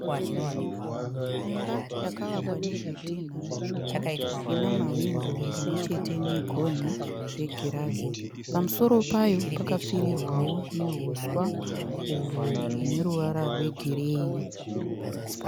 Imba yakavakwa nezvitinha zvitsvuku ina mawindo pamwe chete negonhi zvegirazi. Pamusoro payo pakapfirirwawo nouswa uhwo hune ruvara rwegireyi.